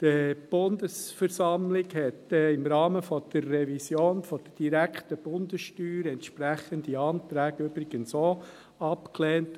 Die Bundesversammlung hat im Rahmen der Revision der direkten Bundessteuer entsprechende Anträge übrigens auch abgelehnt.